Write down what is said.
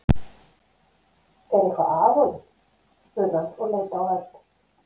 Er eitthvað að honum? spurði hann og leit á Örn.